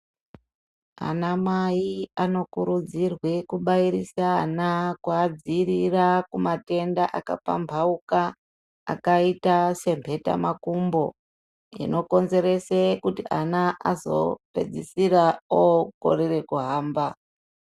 Ana mai anokurudzirwe kubairise ana kuadziirira kumatenda akapambauka akaita senhetamakumbo inokonzerese kuti ana anozopedzesera okorera kuhamba.